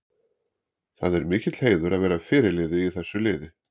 Það er mikill heiður að vera fyrirliði í þessu liði.